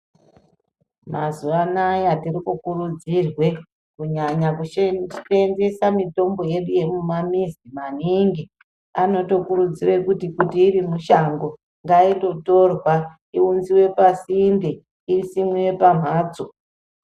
Mazuwanaya tirikukurudzirwe kunyanya kuseenzesa mitombo yedu yemumamizo maningi anotokurudzirw kuti kuti irimushango ngaindotorwa iunzwe pasinte isimwe pamhatso.